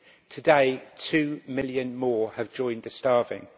Today, two million more have joined the starving.